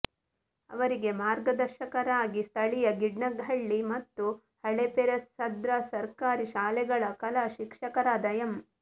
ಅವರಿಗೆ ಮಾರ್ಗದರ್ಶಕರಾಗಿ ಸ್ಥಳೀಯ ಗಿಡ್ನಹಳ್ಳಿ ಮತ್ತು ಹಳೇಪೆರೇಸಂದ್ರ ಸರ್ಕಾರಿ ಶಾಲೆಗಳ ಕಲಾ ಶಿಕ್ಷಕರಾದ ಎಂ